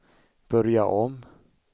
börja om